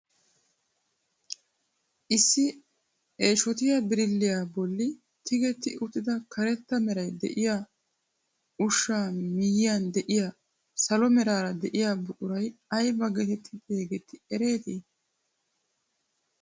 Issi eeshotiyaa birilliyaa bolli tigetti uttida karetta meraara de'iyaa ushshaa miyiyaan de'iyaa salo meraara de'iyaa buquray ayba getetti xeegettii eretii?